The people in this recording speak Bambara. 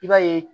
I b'a ye